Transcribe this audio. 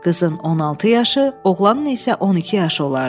Qızın 16 yaşı, oğlanın isə 12 yaşı olardı.